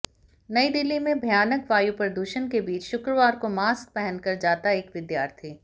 नयी दिल्ली में भयानक वायु प्रदूषण के बीच शुक्रवार को मॉस्क पहनकर जाता एक विद्यार्थी